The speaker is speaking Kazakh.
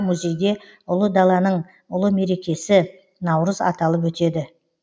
музейде ұлы даланың ұлы мерекесі наурыз аталып өтеді